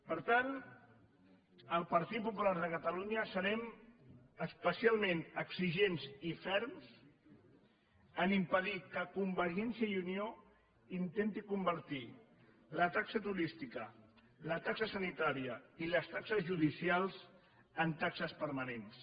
per tant el partit popular de catalunya serem especialment exigents i ferms a impedir que convergència i unió intenti convertir la taxa turística la taxa sanitària i les taxes judicials en taxes permanents